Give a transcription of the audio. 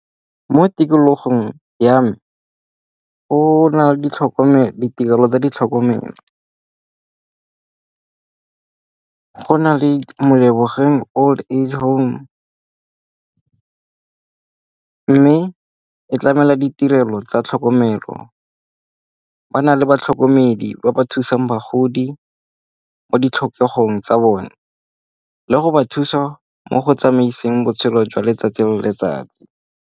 Mo tikologong ya me go na le ditirelo tsa ditlhokomelo. Go na le Molebogeng Old Age Home mme e tlamela ditirelo tsa tlhokomelo. Ba na le batlhokomedi ba ba thusang bagodi mo ditlhokego tsa bone le go ba thusa mo go tsamaiseng botshelo jwa letsatsi le letsatsi.